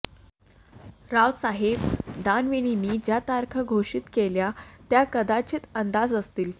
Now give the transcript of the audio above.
रावसाहेब दानवेंनी ज्या तारखा घोषित केल्या त्या कदाचित अंदाज असतील